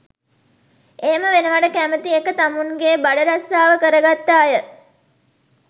එහෙම වෙනවට කැමති ඒක තමුන්ගෙ බඩරස්සාව කරගත්ත අය.